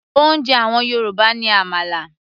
oúnjẹ àwọn Yorùbá ní àmàlà